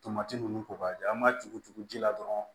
Tomati ninnu kɔ ka di an ma tugu tugu ji la dɔrɔn